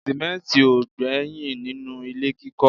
sìmẹ́ntì ò gbẹ́yìn nínú ilé kíkọ́